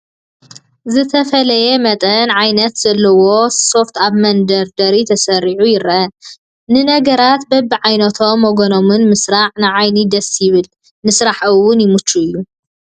ዝተፈላለየ መጠንን ዓይነትን ዘለዎ ሶፍት ኣብ መደርደሪ ተሰሪዑ ይርአ፡፡ ንነገራት በብዓይነቶምን ወገኖምን ምስራዕ ንዓይኒ ደስ ይብል፡፡ ንስራሕ እውን ይምችው እዩ፡፡